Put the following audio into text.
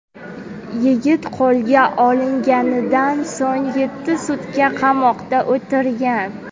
Yigit qo‘lga olinganidan so‘ng yetti sutka qamoqda o‘tirgan.